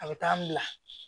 A bɛ taa n bila